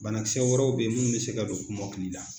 Banakisɛ wɛrɛw bɛ ye minnu bɛ se ka don kɔmɔkili la.